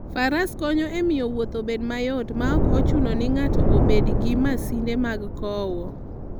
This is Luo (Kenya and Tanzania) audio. Faras konyo e miyo wuoth obed mayot maok ochuno ni ng'ato obed gi masinde mag kowo.